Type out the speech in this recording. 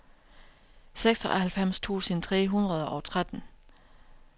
seksoghalvfems tusind tre hundrede og tretten